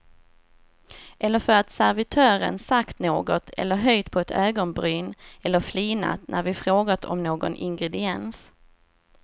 Eller för att servitören sagt något eller höjt på ett ögonbryn eller flinat när vi frågat om någon ingrediens.